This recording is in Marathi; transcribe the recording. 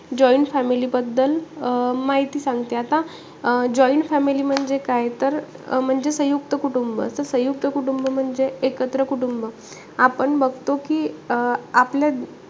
Joint family बद्दल अं माहिते सांगते आता. अं joint family म्हणजे काय? तर अं म्हणजे सयुंक्त कुटुंब. तर संयुक्त कुटुंब म्हणजे एकत्र कुटुंब. आपण बघतो कि अं आपलं,